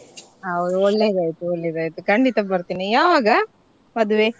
How~ ಒಳ್ಳೇದಾಯ್ತು ಒಳ್ಳೇದಾಯ್ತು ಖಂಡಿತ ಬರ್ತೀನಿ ಯಾವಾಗ ಮದ್ವೆ?